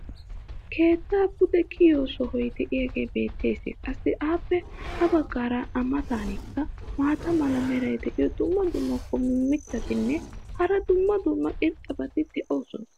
keettaa pude kiyiyo sohoy diyaagee beetees. qassi appe ha bagaara a matankka maata mala meray diyo dumma dumma qommo mitattinne hara dumma dumma irxxabati de'oosona.